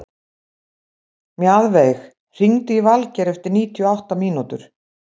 Mjaðveig, hringdu í Valgeir eftir níutíu og átta mínútur.